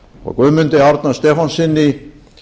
og guðmundi árna stefánssyni